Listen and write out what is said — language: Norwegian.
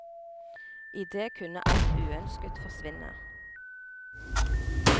I det kunne alt uønsket forsvinne.